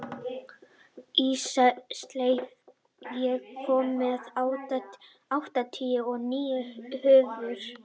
Ísleif, ég kom með áttatíu og níu húfur!